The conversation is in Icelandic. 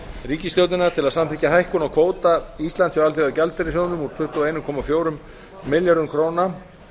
ríkisstjórnina til að samþykkja hækkun á kvóta íslands hjá alþjóðagjaldeyrissjóðnum úr tuttugu og einn komma fjórum milljörðum króna